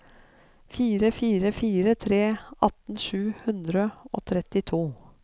fire fire fire tre atten sju hundre og trettito